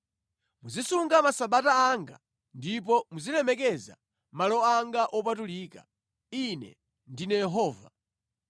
“ ‘Muzisunga Masabata anga ndipo muzilemekeza malo anga wopatulika. Ine ndine Yehova.